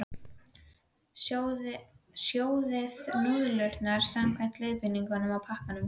Sjóðið núðlurnar samkvæmt leiðbeiningum á pakkanum.